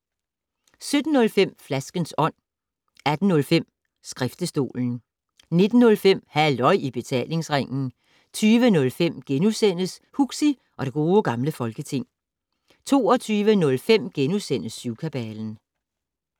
17:05: Flaskens Ånd 18:05: Skriftestolen 19:05: Halløj i Betalingsringen 20:05: Huxi og det Gode Gamle Folketing * 22:05: Syvkabalen *